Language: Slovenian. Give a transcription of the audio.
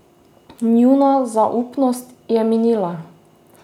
Njuna zaupnost je minila.